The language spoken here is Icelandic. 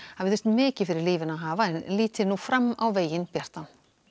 hafi þurft mikið fyrir lífinu að hafa en líta nú á fram á veginn bjartan